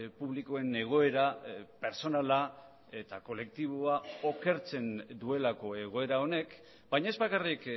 publikoen egoera pertsonala eta kolektiboa okertzen duelako egoera honek baina ez bakarrik